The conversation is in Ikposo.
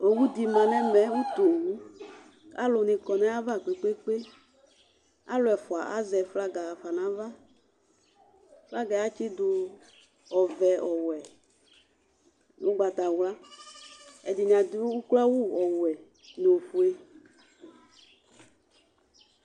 Owuɖini nɛmɛ ʋtu owuAalʋni kɔ n'ava kpekpekpeAlʋɛ ɛfua azɛ flaga ɣafa n'avaFlaga atsiɖʋ ɔvɛ, ɔwuɛ, ʋgbatawlua Ɛɖini aɖʋ oklo awu ɔwuɛ nʋ ofue